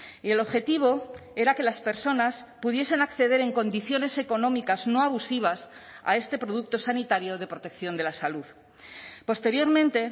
y el objetivo era que las personas pudiesen acceder en condiciones económicas no abusivas a este producto sanitario de protección de la salud posteriormente